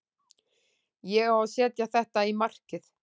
Ég á að setja þetta í markið.